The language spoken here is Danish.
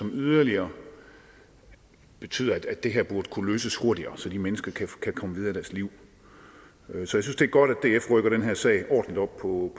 yderligere betyder at det her burde kunne løses hurtigere så de mennesker kan komme videre i deres liv så jeg synes det er godt at df rykker den her sag ordentligt op på